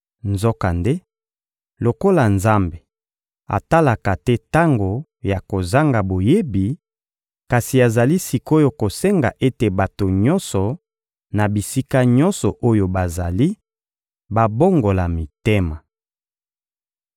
Nzokande, lokola Nzambe atalaka te tango ya kozanga boyebi, kasi azali sik’oyo kosenga ete bato nyonso, na bisika nyonso oyo bazali, babongola mitema.